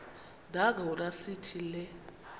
nangona sithi le